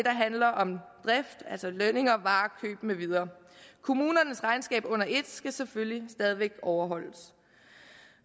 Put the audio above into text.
handler om drift altså lønninger varekøb med videre kommunernes regnskab under et skal selvfølgelig stadig væk overholdes